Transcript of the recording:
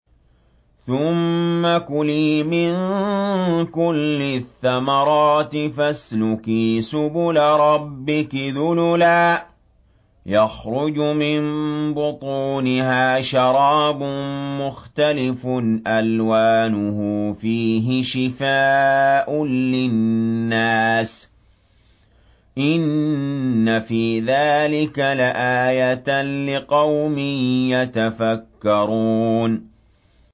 ثُمَّ كُلِي مِن كُلِّ الثَّمَرَاتِ فَاسْلُكِي سُبُلَ رَبِّكِ ذُلُلًا ۚ يَخْرُجُ مِن بُطُونِهَا شَرَابٌ مُّخْتَلِفٌ أَلْوَانُهُ فِيهِ شِفَاءٌ لِّلنَّاسِ ۗ إِنَّ فِي ذَٰلِكَ لَآيَةً لِّقَوْمٍ يَتَفَكَّرُونَ